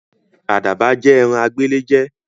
Àdàbà jẹ́ ẹ̀ran agbéléjẹ̀